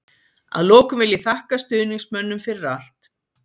Að lokum vil ég þakka stuðningsmönnum fyrir allt.